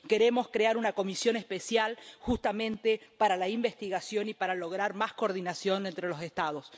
Queremos crear una comisión especial justamente para la investigación y para lograr más coordinación entre los Estados.